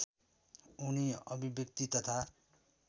उनी अभिव्यक्ति तथा